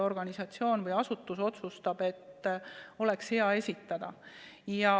Organisatsioon või asutus otsustab, et neil ametikohtadel oleks hea see esitada.